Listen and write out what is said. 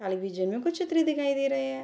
Television में कुछ चित्र दिखाई दे रहे है।